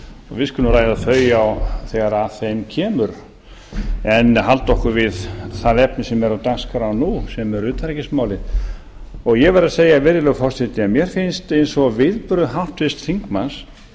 við skulum ræða þau þegar að þeim kemur en halda okkur við það efni sem er á dagskrá sem eru utanríkismálin ég verð að segja virðulegur forseti að mér finnst eins og viðbrögð háttvirts þingmanns